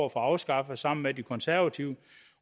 at få afskaffet sammen med de konservative